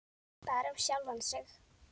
Bara um sjálfan sig.